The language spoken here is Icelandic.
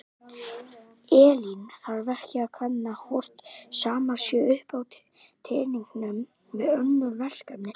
Elín: Þarf ekki að kanna hvort sama sé upp á teningnum við önnur verkefni?